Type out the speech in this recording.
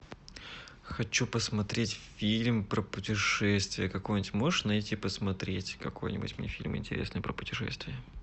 хочу посмотреть фильм про путешествия какой нибудь можешь найти посмотреть какой нибудь мне фильм интересный про путешествия